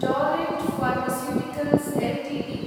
Torrent Pharmaceuticals Ltd